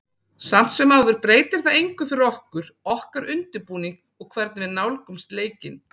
Samt sem áður breytir það engu fyrir okkur, okkar undirbúning og hvernig við nálgumst leikinn.